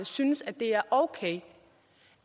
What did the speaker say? synes at det er okay